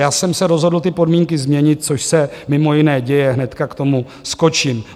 Já jsem se rozhodl ty podmínky změnit, což se mimo jiné děje, hnedka k tomu skočím.